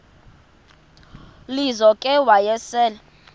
lizo ke wayesel